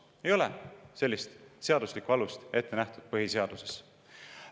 Ei ole sellist seaduslikku alust põhiseaduses ette nähtud.